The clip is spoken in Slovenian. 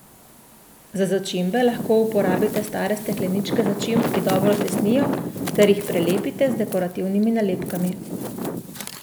Za začimbe lahko uporabite stare stekleničke začimb, ki dobro tesnijo, ter jih prelepite z dekorativnimi nalepkami.